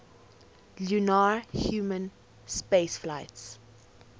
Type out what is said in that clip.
lunar human spaceflights